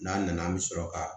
N'a nana an bɛ sɔrɔ ka